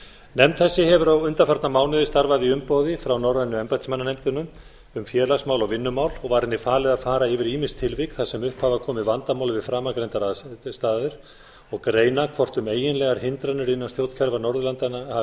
nefnd þessi hefur undanfarna mánuði starfað í umboði frá norrænu embættismannanefndinni um félagsmál og vinnumál og var henni falið að fara yfir ýmis tilvik þar sem upp hafa komið vandamál við framangreindar aðstæður og greina hvort um eiginlegar hindranir innan stjórnkerfa norðurlandanna hafi verið